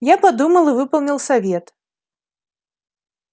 я подумал и выполнил совет